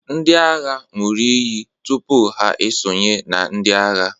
ndị agha ṅụrụ iyi tupu ha esonye na ndị agha